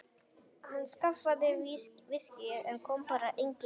Hann skaffaði viskíið en svo kom bara engin dama.